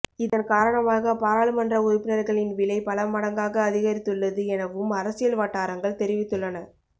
இதன் காரணமாக பாராளுமன்ற உறுப்பினர்களின் விலை பல மடங்காக அதிகரித்துள்ளது எனவும் அரசியல் வட்டாரங்கள் தெரிவித்துள்ளன